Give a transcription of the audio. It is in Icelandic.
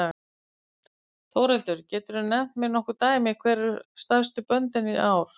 Þórhildur: Geturðu nefnt mér nokkur dæmi hver eru stærstu böndin í ár?